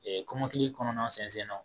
kɔmɔkili kɔnɔna sɛnsɛnnɔ